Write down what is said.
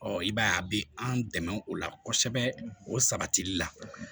Ɔ i b'a ye a bɛ an dɛmɛ o la kosɛbɛ o sabatili la